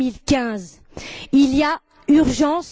2015. Il y a urgence.